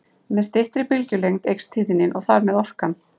Með styttri bylgjulengd eykst tíðnin og þar með orkan.